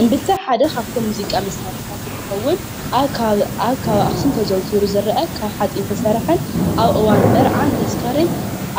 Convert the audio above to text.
እምብልታ ሓደ ካብቶም ሙዚቃ መሳርሕታት እንትኸውን ኣብ ከባቢ ኣብ ከባቢ ኣኽሱም ተዘውቲሩ ዝርአ ካብ ሓፂን ዝተሰርሐን ኣብ እዋን መርዓን ተስካርን